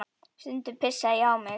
Stundum pissaði ég á mig.